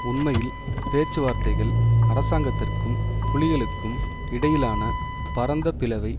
உண்மையில் பேச்சுவார்த்தைகள் அரசாங்கத்தற்கும் புலிகளுக்கும் இடையிலான பரந்த பிளவை